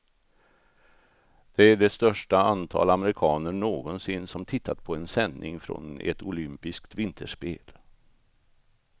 Det är det största antal amerikaner någonsin som tittat på en sändning från ett olympiskt vinterspel.